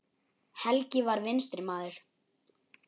Helgi var vinstri maður.